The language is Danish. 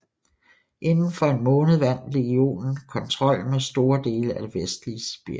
Inden for en måned vandt legionen kontrollen med store dele af det vestlige Sibirien